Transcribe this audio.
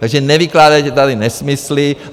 Takže nevykládejte tady nesmysly.